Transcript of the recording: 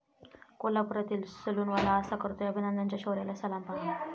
कोल्हापुरातील सलूनवाला असा करतोय अभिनंदनच्या शौर्याला सलाम, पाहा